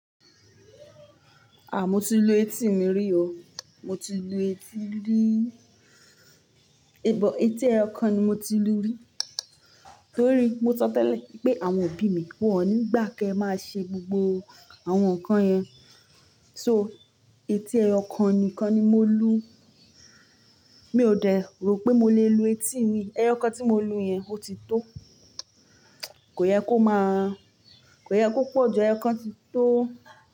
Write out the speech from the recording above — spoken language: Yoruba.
À, mo ti lu etí mi rí o. Mo ti lu etí rí. Èè bọ̀, etí ẹyọ kan ni mo ti lu rí. Nítorí mo sọ tẹ́lẹ̀ pé àwọn òbí mi wọ́n ò nígbà kí ẹ máa ṣe gbogbo àwọn nǹkan yẹn. So etí ẹyọ kan nìkan ni mo lu. Mi ò de rò pé mo lè lu etí mi. Ẹyọ kan tí mo lu yẹn ó ti tó. Kò yẹ kó máa, kò yẹ kó pọ̀jù, ẹyọ kan ti tó.